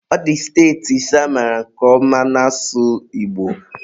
ọ dị steeti ise amaara nke ọma na-asụ Igbo